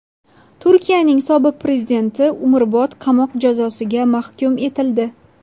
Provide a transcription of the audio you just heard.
Turkiyaning sobiq prezidenti umrbod qamoq jazosiga mahkum etildi.